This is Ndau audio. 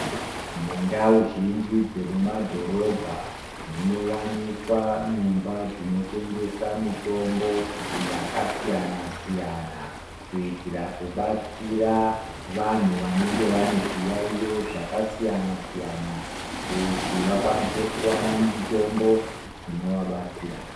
Mundau zhinji dzemumadhorobha munowanikwa nyumba dzinotengesa mitombo yakasiyana siyana kuitira kubatsira vanthu vanenge vane zviyaiyo zvakasiyana siyana kuti vakwanose kuona mitombo inovabatsira.